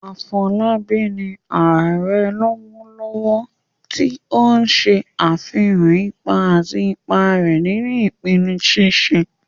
Afolabi ni "Ààrẹ " lọwọlọwọ, ti o n ṣe afihan ipa àti ipa rẹ̀ nínú ìpinnu ṣíṣe